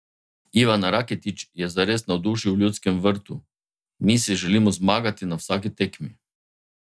Ivan Rakitić je zares navdušil v Ljudskem vrtu: "Mi si želimo zmagati na vsaki tekmi.